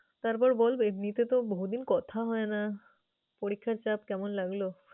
তারপর বল এমিনিতে তো কথা হয়না, পরীক্ষার চাপ কেমন লাগলো?